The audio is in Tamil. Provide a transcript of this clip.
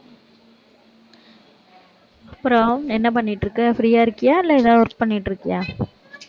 அப்புறம், என்ன பண்ணிட்டிருக்க free ஆ இருக்கியா இல்லை, ஏதாவது work பண்ணிட்டிருக்கியா?